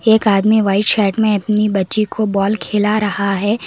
एक आदमी white shirt में अपनी बच्ची को बॉल खेला रहा है।